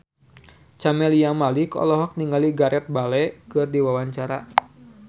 Camelia Malik olohok ningali Gareth Bale keur diwawancara